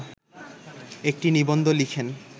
একটি নিবন্ধ লিখেন